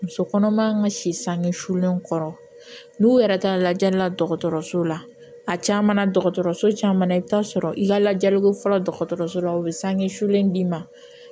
Muso kɔnɔma ka si sange sulen kɔrɔ n'u yɛrɛ taara lajɛli la dɔgɔtɔrɔso la a caman na dɔgɔtɔrɔso caman na i bɛ taa sɔrɔ i ka lajɛliko fɔlɔ dɔgɔtɔrɔso la u bɛ sange sulen d'i ma